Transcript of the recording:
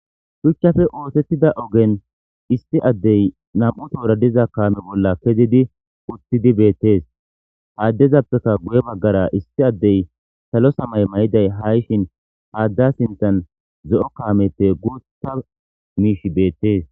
shuchchafe ootettida ogen isti addey nam7u toora diza kaame bolla kezidi utthidi beettees haaddezappeka guye baggara issi addey salo samay may7iday ha7ishin haadda sintan ze7o kaameppe guuthta miish beettees